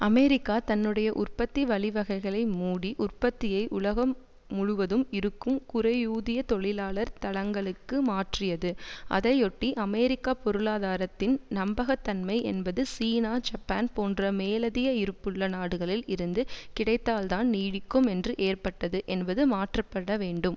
America தன்னுடைய உற்பத்தி வழிவகைகளை மூடி உற்பத்தியை உலகம் முழுவதும் இருக்கும் குறைவூதிய தொழிலாளர் தளங்களுக்கு மாற்றியது அதையொட்டி அமெரிக்க பொருளாதாரத்தின் நம்பகத்தன்மை என்பது சீனா ஜப்பான் போன்ற மேலதிய இருப்புள்ள நாடுகளில் இருந்து கிடைத்தால்தான் நீடிக்கும் என்று ஏற்பட்டது என்பது மாற்றப்பட வேண்டும்